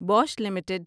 Bush limited